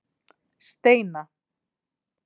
Steina